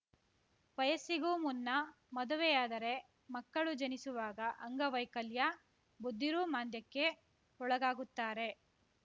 ವಯಸ್ಸಿಗೂ ಮುನ್ನ ಮದುವೆಯಾದರೆ ಮಕ್ಕಳು ಜನಿಸುವಾಗ ಅಂಗವೈಕಲ್ಯ ಬುದ್ಧಿಋುಮಾಂಧ್ಯಕ್ಕೆ ಒಳಗಾಗುತ್ತಾರೆ